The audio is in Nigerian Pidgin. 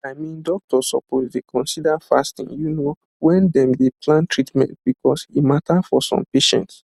i mean doctors suppose dey consider fasting you know when dem dey plan treatment because e matter for some patients